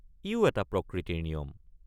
ইয়ো এটা প্ৰকৃতিৰ নিয়ম।